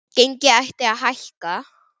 Gengið ætti að hækka.